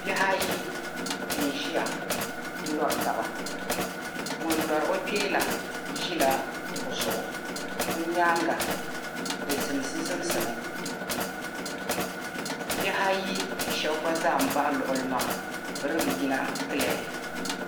Bihi ayi n-ʒiya n-lɔri taba ŋun lɔri o kpee la ʒila kuɣa zuɣu be nyaaŋa di zimsi zimsimi bihi ayi shɛba gba zaa m-bahi luɣili maa be dii be yina "clear".